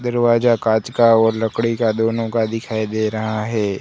दरवाजा कांच का और लकड़ी का दोनों का दिखाई दे रहा है।